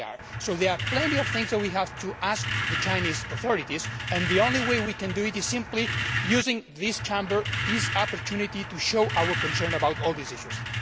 So there are plenty of things that we have to ask the Chinese authorities, and the only way we can do this is by using this Chamber, this opportunity to show our concern about all these issues.